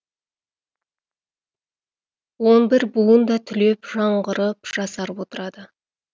он бір буын да түлеп жаңғырып жасарып отырады